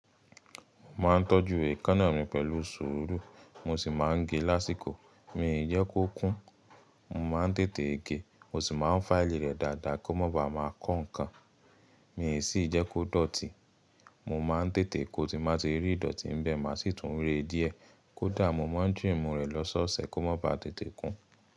Mo máa ń tọ́jú èékánná mi pẹ̀lú sùúrù, mo sì máa ń gé lásìkò. Mi ò jẹ́ kó kún, mo máa ń tètè gé, mo sì máa ń fáili rẹ̀ dáadáa kó má baà ma kọ́ nǹkan. Mi ò sì jẹ́ kó dọ̀tí, mo máa ń tètè kó tí màá ti rí ìdọ̀tí ń bẹ, màá sì tún rere díẹ̀ kó dà mọ́ máa ń trìmù rẹ̀ lọ́ṣọ̀ọ̀sẹ̀ kó má ba tètè kún.